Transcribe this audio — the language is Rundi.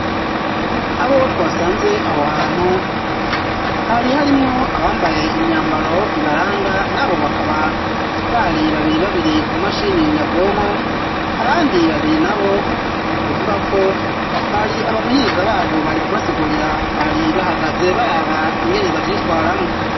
Abo twasanze aho hantu, hari harimwo abambaye imyambaro ibaranga, nabo bakaba bari babiri babiri ku mashini nyabwonko, abandi babiri nabo kuvuga ko bari abamenyereza babo bari kubasigurira, bari bahagaze baraba ingene bavyitwaramwo.